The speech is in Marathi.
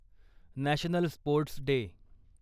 national sports day